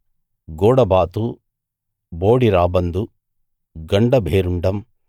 గూడబాతు బోడి రాబందు గండ భేరుండం